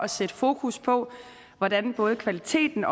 at sætte fokus på hvordan både kvaliteten